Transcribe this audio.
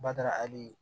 Bada hali